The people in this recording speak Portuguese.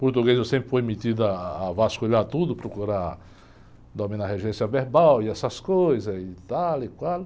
Português eu sempre fui metido ah, a vasculhar tudo, procurar dominar a regência verbal e essas coisas e tal e qual.